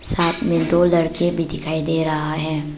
साथ में दो लड़के भी दिखाई दे रहा है।